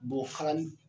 Bɔ farali